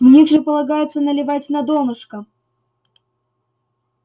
в них же полагается наливать на донышко